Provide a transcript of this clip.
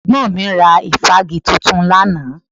Ẹ̀gbọ́n mi ra ìfági tuntun lánàá